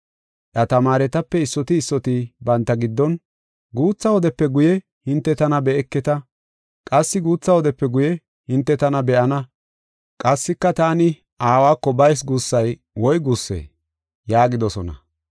Iya tamaaretape issoti issoti banta giddon, “Guutha wodepe guye hinte tana be7eketa; qassi guutha wodepe guye hinte tana be7ana; qassika taani Aawako bayis guussay woy guussee?” yaagidosona.